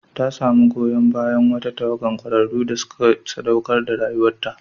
Ta samu goyon bayan wata tawagar kwararru da suka saɗaukar da rayuwarta.